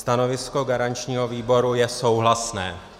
Stanovisko garančního výboru je souhlasné.